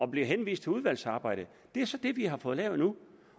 blev henvist til udvalgsarbejdet det er så det vi har fået lavet nu